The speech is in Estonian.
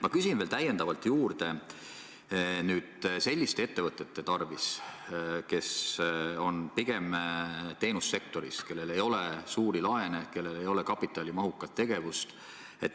Ma küsin veel täiendavalt juurde selliste ettevõtete kohta, kes on pigem teenussektoris ja kellel ei ole suuri laene, kellel ei ole kapitalimahukat tegevust.